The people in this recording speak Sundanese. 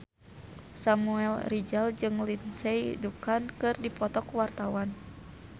Samuel Rizal jeung Lindsay Ducan keur dipoto ku wartawan